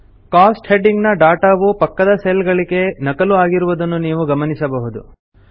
coast heading ನ data ವು ಪಕ್ಕದ ಸೆಲ್ ಗಳಿಗೆ ನಕಲು ಆಗಿರುವುದನ್ನು ನಾವು ಗಮನಿಸಬಹುದು